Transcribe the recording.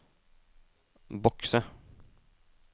bokse